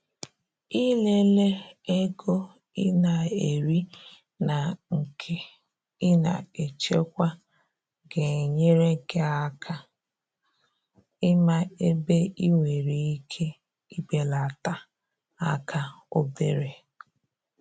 i le le ego i na eri na nke i na echekwa ga enyere gi aka ịma ebe ị nwere ike i belata aka obere.